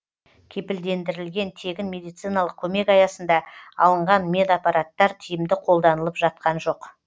кепілдендірілген тегін медициналық көмек аясында алынған медапараттар тиімді қолданылып жатқан жоқ